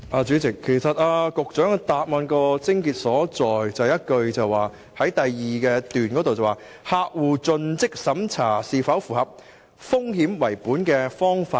主席，局長的主體答覆的癥結，在於第二部分那一句，"客戶盡職審查是否符合'風險為本'的方法"。